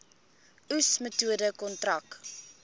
oes metode kontrak